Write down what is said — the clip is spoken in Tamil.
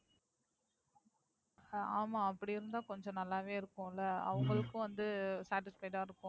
ஆமா அப்படி இருந்தா கொஞ்சம் நல்லாவே இருக்கும்ல உம் அவுங்களுக்கும் வந்து Satisfied ஆ இருக்கும்.